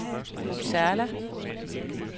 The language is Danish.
Uppsala